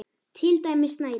Til dæmis snæri.